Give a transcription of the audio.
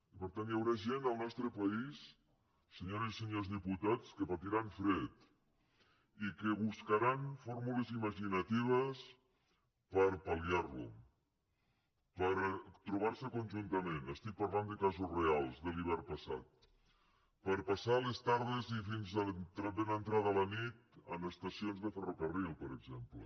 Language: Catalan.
i per tant hi haurà gent al nostre país senyores i senyors diputats que patiran fred i que buscaran fórmules imaginatives per pal·liar lo per trobar se conjuntament estic parlant de casos reals de l’hivern passat per passar les tardes i fins a ben entrada la nit en estacions de ferrocarril per exemple